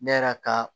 Ne yɛrɛ ka